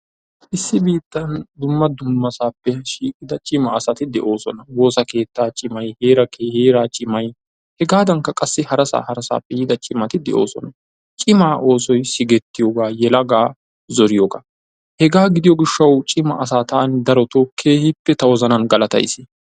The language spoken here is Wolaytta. Issi biittan dumma dummasappe shiiqida cimaa asati de'oosona. Woossa keettaa cimay heera cimay hegadankka qassi hara harassappe yiida cimati de'oosona. Cima oosoy sigeeritooga yelagaa zoriyooga, hega gidiyo gishshaw cima asa taan darotto keehippe ta wozanan galatays.